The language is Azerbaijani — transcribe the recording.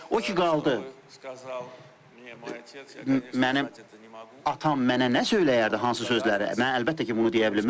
O ki qaldı mənim atam mənə nə söyləyərdi, hansı sözləri, mən əlbəttə ki, bunu deyə bilmərəm.